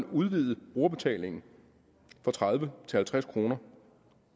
udvidet brugerbetalingen fra tredive til halvtreds kroner